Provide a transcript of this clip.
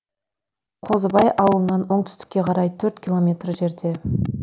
қозыбай ауылынан оңтүстікке қарай төрт километр жерде